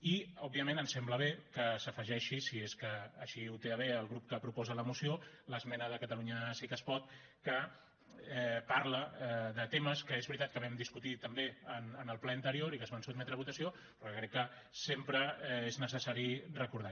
i òbviament em sembla bé que s’afegeixi si és que així ho té a bé el grup que proposa la moció l’esmena de catalunya sí que es pot que parla de temes que és veritat que vam discutir també en el ple anterior i que es van sotmetre a votació però crec que sempre és necessari recordar